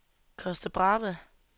Costa Brava